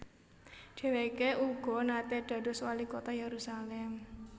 Dheweke uga nate dados Walikota Yerusalem